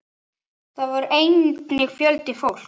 Þar var einnig fjöldi fólks.